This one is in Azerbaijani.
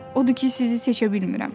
Odur ki, sizi seçə bilmirəm.